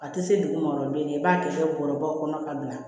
A tɛ se duguma dɔrɔn i b'a kɛ bɔrɔbaw kɔnɔ ka bila